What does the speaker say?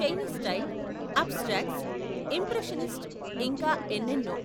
Chinese style, abstracts, impressionist ఇంకా ఎన్నెన్నో.